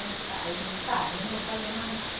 Tá Eu digo, tá, eu não vou fazer mais nada.